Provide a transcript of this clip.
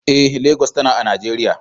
Eh, Legas tana a Najeriya.